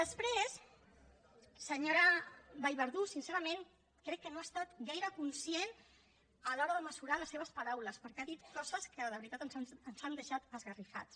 després senyora vallverdú sincerament crec que no ha estat gaire conscient a l’hora de mesurar les seves paraules perquè ha dit coses que de veritat ens han deixat esgarrifats